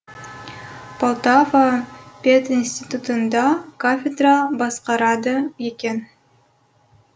полтава пединститутында кафедра басқарады екен